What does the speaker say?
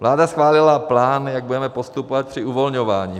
Vláda schválila plán, jak budeme postupovat při uvolňování.